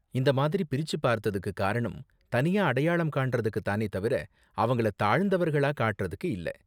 இந்த மாதிரி பிரிச்சு பார்த்ததுக்கு காரணம் தனியா அடையாளம் காண்றதுக்கு தானே தவிர அவங்களை தாழ்ந்தவர்களா காட்டுறதுக்கு இல்ல.